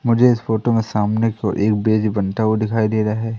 मुझे इस फोटो में सामने को एक बेज बनता हुआ दिखाई दे रहा है।